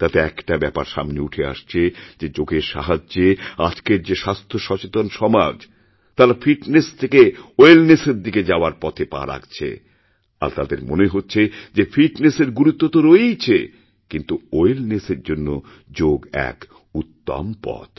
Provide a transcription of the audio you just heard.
তাতে একটা ব্যাপারসামনে উঠে আসছে যে যোগের সাহায্যে আজকের যে স্বাস্থ্য সচেতন সমাজ তারা ফিটনেসথেকে ওয়েলনেসের দিকে যাওয়ার পথে পা রাখছে আর তাদের মনে হচ্ছে যে ফিটনেসের গুরুত্বতো রয়েইছে কিন্তু ওয়েলনেসের জন্য যোগ এক উত্তম পথ